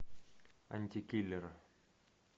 антикиллер